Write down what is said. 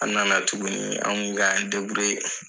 An nana tuguni an kun bɛ k'an